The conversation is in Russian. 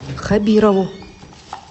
хабирову